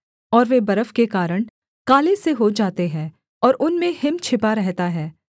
और वे बर्फ के कारण काले से हो जाते हैं और उनमें हिम छिपा रहता है